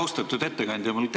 Austatud ettekandja!